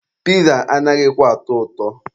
Piza anaghịkwa atọ ụtọ.